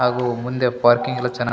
ಹಾಗೂ ಮುಂದೆ ಪಾರ್ಕಿಂಗ್ ಏಲ್ಲಾ ಚೆನ್ನಾಗಿ --